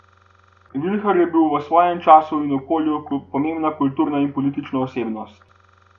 Vilhar je bil v svojem času in okolju pomembna kulturna in politična osebnost.